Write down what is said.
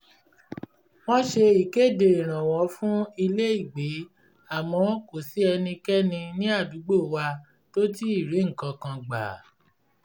wọ́n ṣe ìkéde ìrànwọ́ fún ilé-ìgbé àmọ́ kò sí ẹnikẹ́ni ní àdúgbò wa tó ti ri nǹkan kan gbà